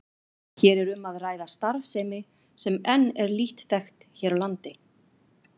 Hér er um að ræða starfsemi sem enn er lítt þekkt hér á landi.